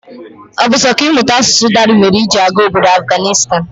Ọ bu sọ kà ịmụta asụsụ Dari mèrè iji gaa ọbọdọ Afganistan?